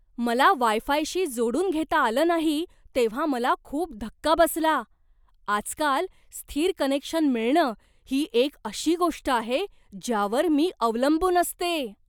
मला वाय फायशी जोडून घेता आलं नाही तेव्हा मला खूप धक्का बसला. आजकाल, स्थिर कनेक्शन मिळणं ही एक अशी गोष्ट आहे ज्यावर मी अवलंबून असते.